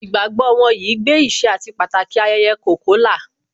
Ìgbàgbọ́ wọn yìí gbé ìṣe àti Pàtàki ayẹyẹ Kolkola